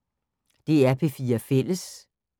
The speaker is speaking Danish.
DR P4 Fælles